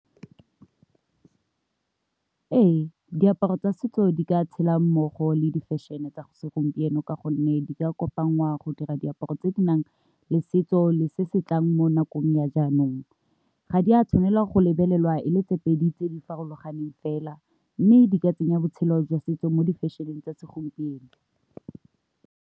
Ee, diaparo tsa setso di ka tshela mmogo le di fashion-e tsa go segompieno ka gonne di ka kopa ngwao go dira diaparo tse di nang le setso le se tlang mo nakong ya jaanong, ga di a tshwanela go lebelelwa e le tse pedi tse di farologaneng fela mme di ka tsenya botshelo jwa setso mo di fashion-eng tsa segompieno.